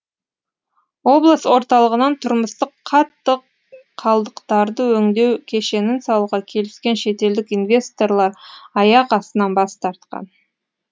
облыс орталығынан тұрмыстық қатты қалдықтарды өңдеу кешенін салуға келіскен шетелдік инвесторлар аяқ астынан бас тартқан